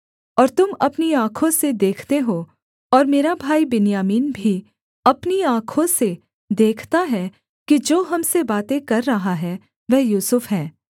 और तुम अपनी आँखों से देखते हो और मेरा भाई बिन्यामीन भी अपनी आँखों से देखता है कि जो हम से बातें कर रहा है वह यूसुफ है